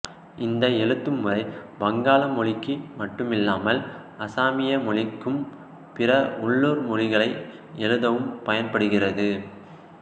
இந்த எழுத்துமுறை வங்காள மொழிக்கு மட்டுமில்லாமல் அசாமிய மொழிக்கும் பிற உள்ளூர் மொழிகளை எழுதவும் பயன்படுகிறது